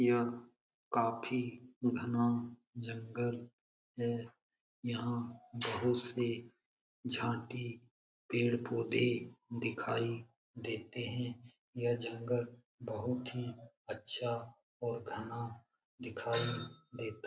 यह काफी घना जंगल है यहाँ बहुत से झाटी पेड़-पौधे दिखाई देते है यह जंगल बहुत ही अच्छा और घना दिखाई देता है।